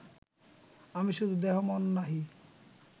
আমি শুধু দেহ-মন নহি